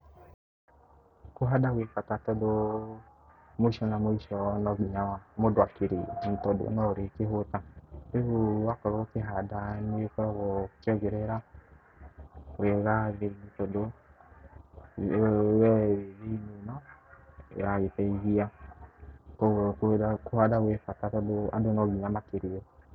Kũhanda gwĩ bata tondũ mũico na mũico no nginya mũndũ akĩrĩe tondũ no ũrĩkĩhũta, rĩu wakorwo ũkĩhanda nĩ ũkoragwo ũkĩongerera wega thĩ tondũ we wĩ thĩ-inĩ ĩno, ĩragĩteithia, kũhanda gwĩ bata tondũ andũ no nginya makĩrĩe.